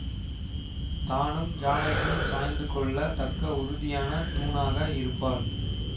தானும் ஜானகியும் சாய்ந்து கொள்ள தக்க உறுதியான தூணாக இருப்பாள்